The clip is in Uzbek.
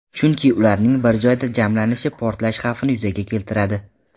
Chunki ularning bir joyda jamlanishi portlash xavfini yuzaga keltiradi.